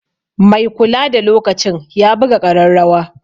Mai kulada lokacin ya buga ƙararrawa.